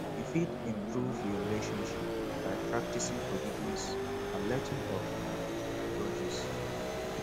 you fit improve your relationship by practicing forgiveness and letting go of um grudges